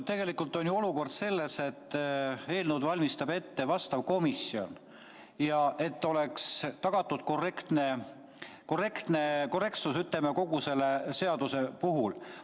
Tegelikult on ju olukord selline, et eelnõu valmistab ette juhtivkomisjon, kes peab tagama korrektsuse kogu seaduseelnõu puhul.